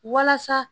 Walasa